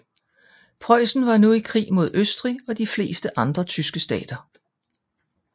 Preussen var nu i krig mod Østrig og de fleste andre tyske stater